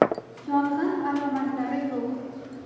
Yong‘in alomatlari yo‘q.